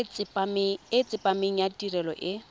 e tsepameng ya tirelo e